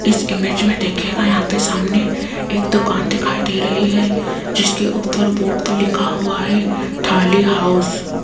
इस इमेज में देखिएगा यहां पे सामने एक दुकान दिखाई दे रही है जिसके ऊपर बोर्ड पे लिखा हुआ है थाली हाउस ।